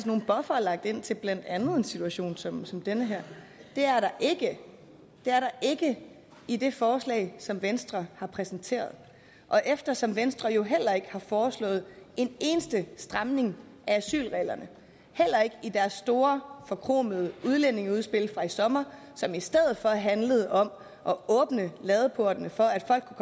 nogle buffere ind til blandt andet en situation som som den her det er der ikke ikke i det forslag som venstre har præsenteret og eftersom venstre jo ikke har foreslået en eneste stramning af asylreglerne heller ikke i deres store forkromede udlændingeudspil fra i sommer som i stedet for handlede om at åbne ladeporten for at folk